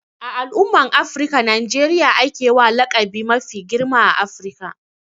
A al'umman Afirika, Najeriya a ke wa laƙabi mafi girma a Afirka.